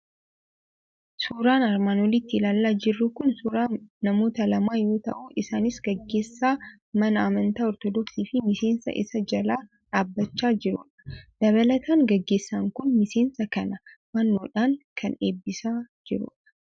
Suuraan armaan olitti ilaalaa jirru kun suuraa namoota lamaa yoo ta'u, isaanis gaggeessaa mana Amantaa Ortoodoksii fi miseensa isa jala dhaabbachaa jirudha. Dabalataan, gaggeessaan kun miseensa kana fannoodhaan kan eebbisaa jirudha.